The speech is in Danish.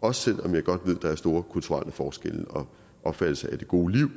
og selv om jeg godt ved at der er store kulturelle forskelle og opfattelser af det gode liv